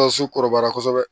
kɔrɔbaya kosɛbɛ